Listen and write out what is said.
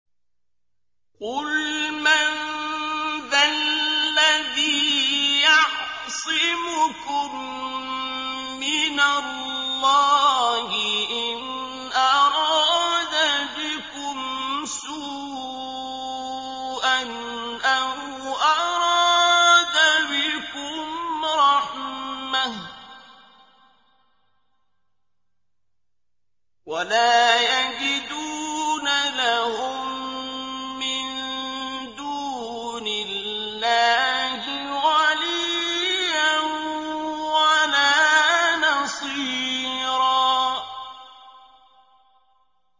قُلْ مَن ذَا الَّذِي يَعْصِمُكُم مِّنَ اللَّهِ إِنْ أَرَادَ بِكُمْ سُوءًا أَوْ أَرَادَ بِكُمْ رَحْمَةً ۚ وَلَا يَجِدُونَ لَهُم مِّن دُونِ اللَّهِ وَلِيًّا وَلَا نَصِيرًا